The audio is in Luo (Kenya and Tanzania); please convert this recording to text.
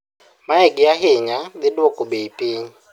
Mae gi ahinya thiduoko bei piny